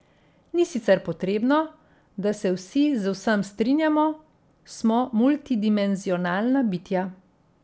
Ni sicer potrebno, da se vsi z vsem strinjamo, smo multidimenzionalna bitja.